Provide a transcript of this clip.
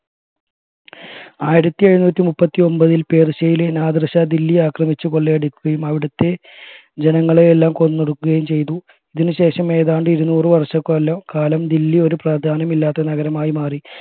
ആയിരത്തി എഴുനൂറ്റി മുപ്പത്തിഒമ്പതിൽ പേർഷ്യയിലെ നാദിർഷ ദില്ലി ആക്രമിച്ചു കൊള്ളയടിക്കുകയും അവിടുത്തെ ജനങ്ങളെയെല്ലാം കൊന്നൊടുക്കുകയും ചെയ്തു ഇതിനു ശേഷം ഏതാണ്ട് ഇരുന്നൂറ് വർഷ കലം കാലം ദില്ലി ഒരു പ്രാധാന്യമില്ലാത്ത നഗരമായി മാറി